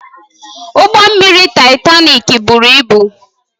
Ụgbọ mmiri Taịtanik buru ibu